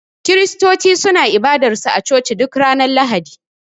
kiristoci suna ibadar su a coci duk Ranar lahadi.